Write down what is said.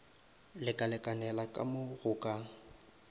lekalekanela ka mo go ka